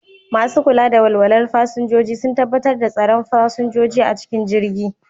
Masu kula da walwalar fasinjoji sun tabbatar da tsaron fasinjoji a cikin jirgi